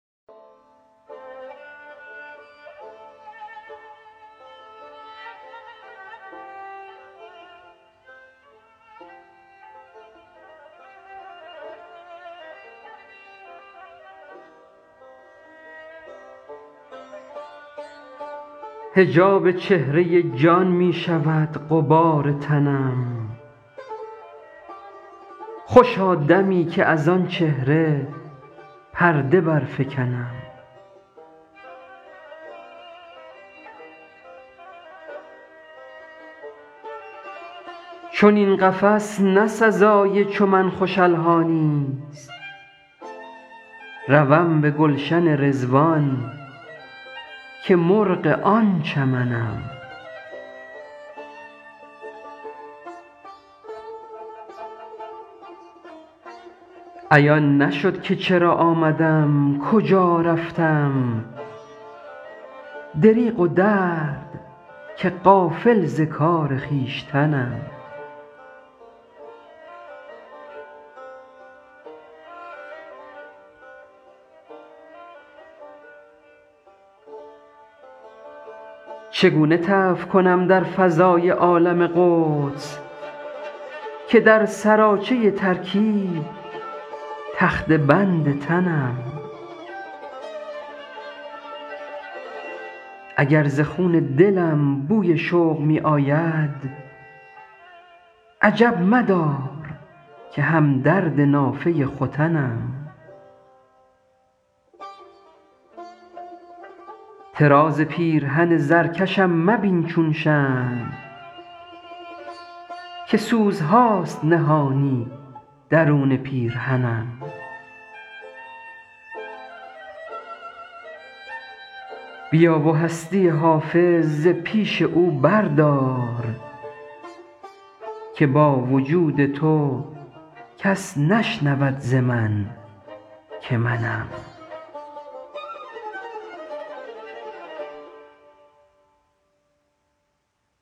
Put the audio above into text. حجاب چهره جان می شود غبار تنم خوشا دمی که از آن چهره پرده برفکنم چنین قفس نه سزای چو من خوش الحانی ست روم به گلشن رضوان که مرغ آن چمنم عیان نشد که چرا آمدم کجا رفتم دریغ و درد که غافل ز کار خویشتنم چگونه طوف کنم در فضای عالم قدس که در سراچه ترکیب تخته بند تنم اگر ز خون دلم بوی شوق می آید عجب مدار که هم درد نافه ختنم طراز پیرهن زرکشم مبین چون شمع که سوزهاست نهانی درون پیرهنم بیا و هستی حافظ ز پیش او بردار که با وجود تو کس نشنود ز من که منم